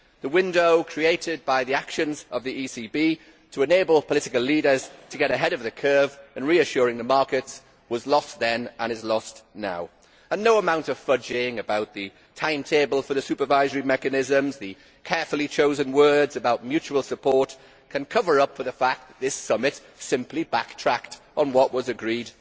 The window created by the actions of the ECB to enable political leaders to get ahead of the curve in reassuring the markets was lost then, and it is lost now. No amount of fudging over the timetable for the supervisory mechanisms or the carefully chosen words about mutual support can cover up for the fact that this summit simply backtracked on what had been agreed.